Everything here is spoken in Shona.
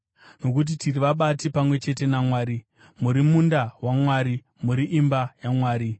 Nokuti tiri vabati pamwe chete naMwari; muri munda waMwari, muri imba yaMwari.